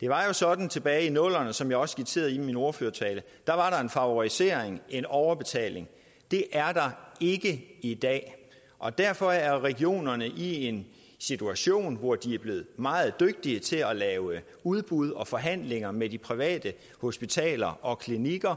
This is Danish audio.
det var jo sådan tilbage i nullerne som jeg også skitserede i min ordførertale at der var en favorisering en overbetaling det er der ikke i dag og derfor er regionerne i en situation hvor de er blevet meget dygtige til at lave udbud og forhandlinger med de private hospitaler og klinikker